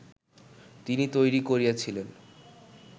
তিনি তৈরি করিয়েছিলেন